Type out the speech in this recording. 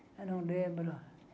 Eu não lembro.